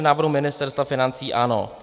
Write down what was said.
V návrhu Ministerstva financí ano.